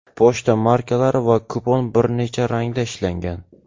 Pochta markalari va kupon bir necha rangda ishlangan.